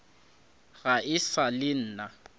ga e sa le nna